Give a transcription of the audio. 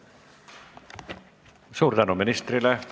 Suur tänu ministrile!